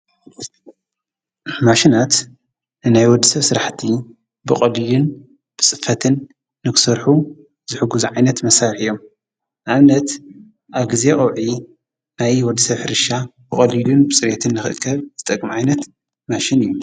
ማሽናት እናይ ወድሰ ሥራሕቲ ብቐልዩን ብጽፈትን ንክሠርሑ ዝሕጉ ዝዒይነት መሣርሕ እዮም ኣምነት ኣግዜኦዒ ናይ ወድሰ ፍርሻ ብቖልዩን ብጽርትን ልኽከብ ዝጠቕመዒነት ማሽን እዩ::